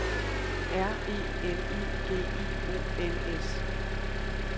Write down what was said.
R E L I G I O N S